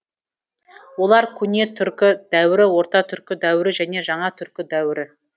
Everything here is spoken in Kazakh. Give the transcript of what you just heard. олар көне түркі дәуірі орта түркі дәуірі және жаңа түркі дәуірі